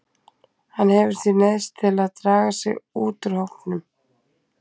Hann hefur því neyðst til að draga sig út úr hópnum.